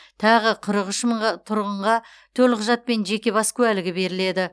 тағы қырық үш мыңға тұрғынға төлқұжат пен жеке бас куәлігі берілген